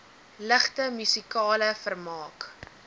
ligte musikale vermaak